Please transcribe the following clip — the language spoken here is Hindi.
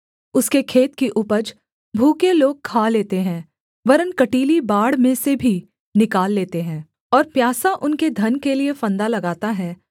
उसके खेत की उपज भूखे लोग खा लेते हैं वरन् कँटीली बाड़ में से भी निकाल लेते हैं और प्यासा उनके धन के लिये फंदा लगाता है